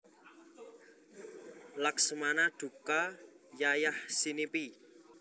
Laksmana duka yayahsinipi